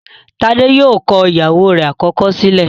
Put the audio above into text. Tade yóò kọ ìyàwó rẹ̀ àkọ́kọ́ sílẹ̀